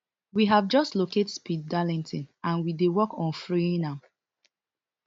we have just locate speed darlington and we dey work on freeing am